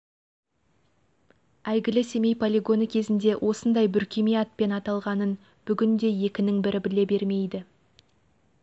әйгілі семей полигоны кезінде осындай бүркеме атпен аталғанын бүгінде екінің бірі біле бермейді